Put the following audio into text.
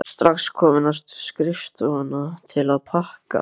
Þú ert strax komin á skrifstofuna til að pakka?